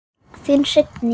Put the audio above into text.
Þín Signý.